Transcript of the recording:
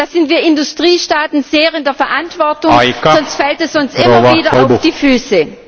Da sind wir Industriestaaten sehr in der Verantwortung, sonst fällt es uns immer wieder auf die Füße.